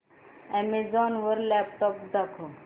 Amazon वर laptops दाखव